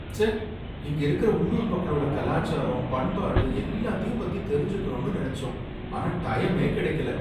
ச்சே! இங்க இருக்குற உள்ளூர் மக்களோட கலாச்சாரம் பண்பாடு எல்லாத்தையும் பத்தி தெரிஞ்சுக்கணும்னு நனைச்சோம், ஆனா டைமே கிடைக்கல